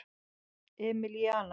Emilíana